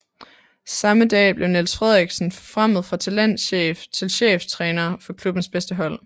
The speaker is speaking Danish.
Samme dag blev Niels Frederiksen forfremmet fra talentchef til cheftræner for klubbens bedste hold